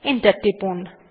enter টিপুন